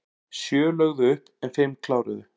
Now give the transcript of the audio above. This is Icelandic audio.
Sjö lögðu upp en fimm kláruðu